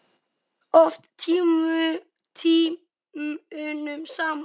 Oft tímunum saman.